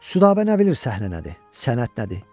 Südabə nə bilir səhnə nədir, sənət nədir?